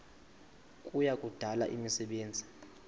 kuya kudala imisebenzi